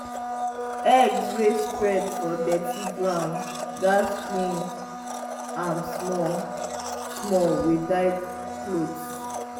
eggs wey spread for dirty ground gats clean am small-small with dry cloth.